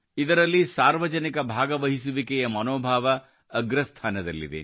ಇದರಲ್ಲಿ ಸಾರ್ವಜನಿಕ ಭಾಗವಹಿಸುವಿಕೆಯ ಮನೋಭಾವವು ಅಗ್ರಸ್ಥಾನದಲ್ಲಿದೆ